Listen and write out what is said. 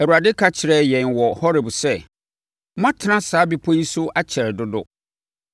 Awurade ka kyerɛɛ yɛn wɔ Horeb sɛ: “Moatena saa bepɔ yi so akyɛre dodo.